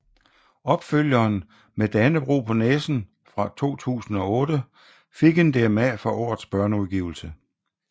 Opfølgeren Med Dannebrog på næsen fra 2008 fik en DMA for årets børneudgivelse